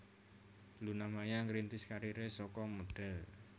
Luna Maya ngrintis kariré saka modhél